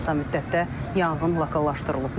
Qısa müddətdə yanğın lokallaşdırılıb.